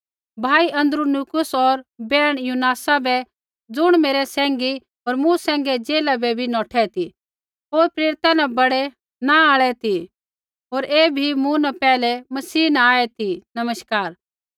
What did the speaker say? भाई अन्द्रुनीकुस होर बैहण युनियासा बै ज़ुण मेरै सैंघी होर मूँ सैंघै जेला बै बी नौठै ती होर प्रेरिता न बड़ै नाँ आल़ै ती होर ऐ बी मूँ न पैहलै मसीह न आऐ ती नमस्कार